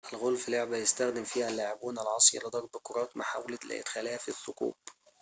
الغولف لعبة يستخدم فيها اللاعبون العصيّ لضرب كرات محاولةً لإدخالها في الثقوب